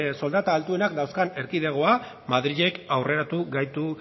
soldata altuenak dauzkan erkidegoa madrilek aurreratu gaitu